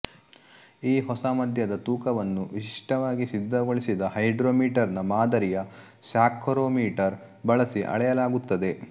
ಈ ಹೊಸಮದ್ಯದ ತೂಕವನ್ನು ವಿಶಿಷ್ಟವಾಗಿ ಸಿದ್ಧಗೊಳಿಸಿದ ಹೈಡ್ರೋಮೀಟರ್ ನ ಮಾದರಿಯ ಸ್ಯಾಕ್ಕರೋಮೀಟರ್ ಬಳಸಿ ಅಳೆಯಲಾಗುತ್ತದೆ